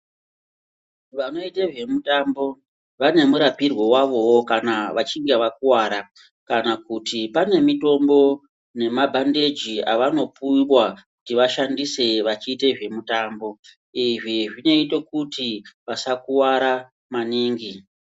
Vanoita nezvemutambo vanewo murapirwe wavo kana vachinge vakuvara kana kuti pane mitombo nemabhandeji avanopuwa kuti vashandise vachiita zvemutambo izvi zvinoite kuti vasakuvara maningi .